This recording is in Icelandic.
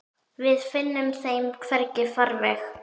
Við finnum þeim hvergi farveg.